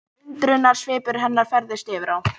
Undrunarsvipur hennar færðist yfir á